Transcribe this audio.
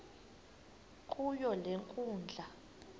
kuyo le nkundla